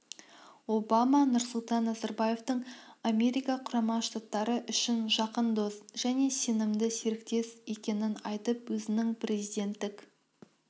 обама нұрсұлтан назарбаевтың америка құрама штаттары үшін жақын дос және сенімді серіктес екенін айтып өзінің президенттік